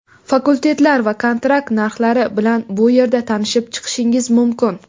Fakultetlar va kontrakt narxlari bilan bu yerda tanishib chiqishingiz mumkin.